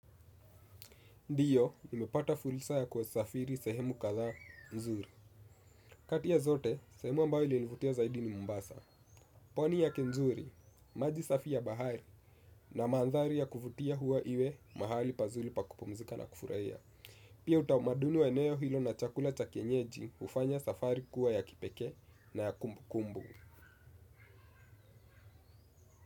Ndio, nimepata fursa ya kusafiri sehemu kadhaa nzuri. Kati ya zote, sehemu ambayo ilinivutia zaidi ni mombasa. Pwani yake nzuri, maji safi ya bahari na maandhari ya kuvutia huwa iwe mahali pazuli pakupumzika na kufurahia. Pia utamaduni wa eneo hilo na chakula cha kienyeji hufanya safari kuwa ya kipekee na ya kumbukumbu.